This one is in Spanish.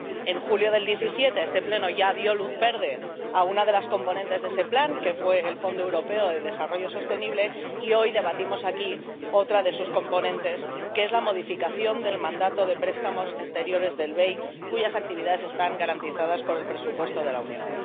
En julio de 2017 este Pleno ya dio luz verde a uno de los componentes de ese Plan, que fue el Fondo Europeo de Desarrollo Sostenible, y hoy debatimos aquí otro de sus componentes, que es la modificación del mandato de préstamos exteriores del BEI, cuyas actividades están garantizadas por el presupuesto de la Unión.